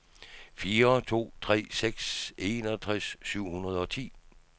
fire to tre seks enogtres syv hundrede og ti